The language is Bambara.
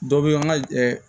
Dɔ bɛ an ka